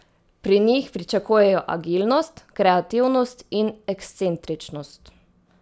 Pri njih pričakujejo agilnost, kreativnost in ekscentričnost.